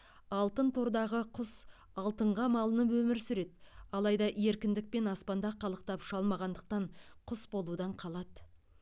алтын тордағы құс алтынға малынып өмір сүреді алайда еркіндікпен аспанда қалықтап ұша алмағандықтан құс болудан қалады